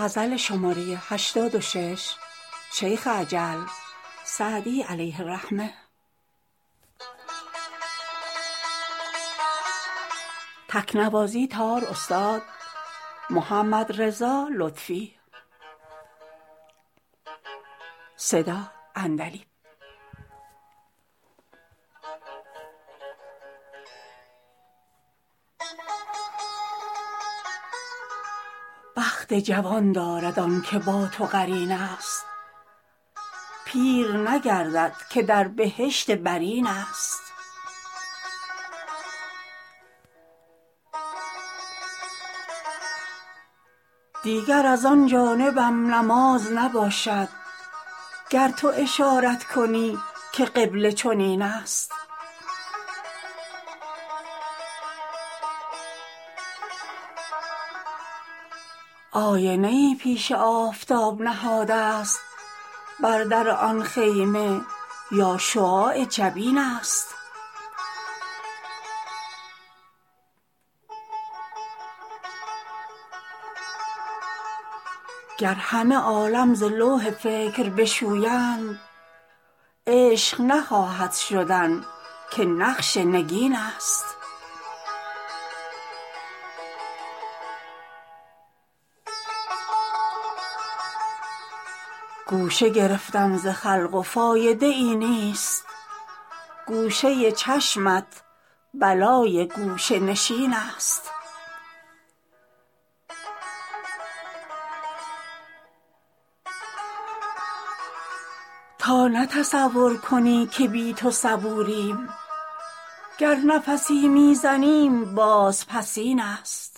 بخت جوان دارد آن که با تو قرین است پیر نگردد که در بهشت برین است دیگر از آن جانبم نماز نباشد گر تو اشارت کنی که قبله چنین است آینه ای پیش آفتاب نهادست بر در آن خیمه یا شعاع جبین است گر همه عالم ز لوح فکر بشویند عشق نخواهد شدن که نقش نگین است گوشه گرفتم ز خلق و فایده ای نیست گوشه چشمت بلای گوشه نشین است تا نه تصور کنی که بی تو صبوریم گر نفسی می زنیم بازپسین است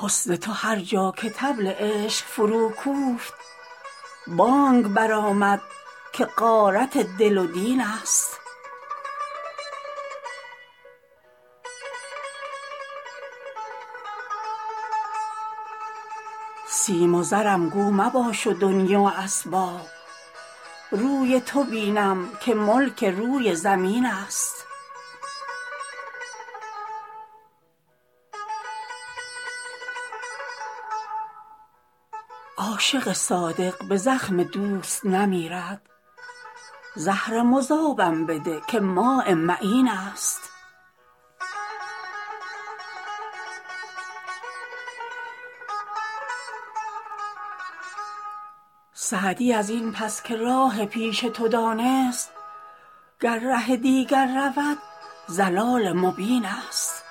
حسن تو هر جا که طبل عشق فروکوفت بانگ برآمد که غارت دل و دین است سیم و زرم گو مباش و دنیی و اسباب روی تو بینم که ملک روی زمین است عاشق صادق به زخم دوست نمیرد زهر مذابم بده که ماء معین است سعدی از این پس که راه پیش تو دانست گر ره دیگر رود ضلال مبین است